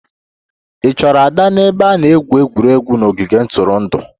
Ị chọrọ Ada n'ebe a na-egwu egwuregwu n'ogige ntụrụndụ?